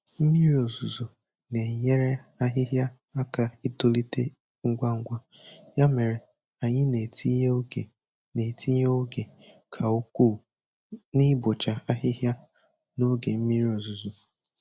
Mmiri ozuzo na-enyere ahịhịa aka itolite ngwa ngwa, ya mere anyị na-etinye oge na-etinye oge ka ukwuu n'ibocha ahịhịa n'oge mmiri ozuzo.